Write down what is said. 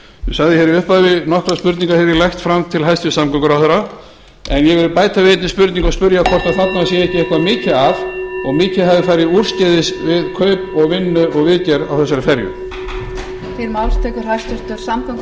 sagði hér í upphafi nokkrar spurningar hef ég lagt fram til hæstvirts samgönguráðherra en ég vil bæta við einni spurningu og spyrja hvort þarna sé ekki eitthvað mikið að og mikið hafi farið úrskeiðis við kaup og vinnu og viðgerð á þessari ferju